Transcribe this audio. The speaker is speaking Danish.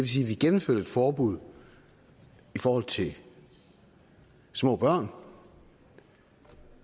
sige at vi gennemførte et forbud i forhold til små børn